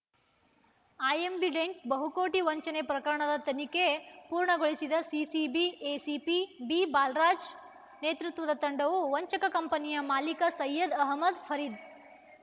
I ambident ಬಹುಕೋಟಿ ವಂಚನೆ ಪ್ರಕರಣದ ತನಿಖೆ ಪೂರ್ಣಗೊಳಿಸಿದ ಸಿಸಿಬಿ ಎಸಿಪಿ ಬಿಬಾಲರಾಜ್‌ ನೇತೃತ್ವದ ತಂಡವು ವಂಚಕ ಕಂಪನಿಯ ಮಾಲಿಕ ಸೈಯದ್‌ ಅಹಮದ್‌ ಫರೀದ್‌